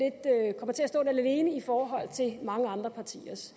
at stå lidt alene i forhold til mange andre partiers